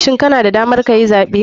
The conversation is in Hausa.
Shin kana da damar kayi zaɓe?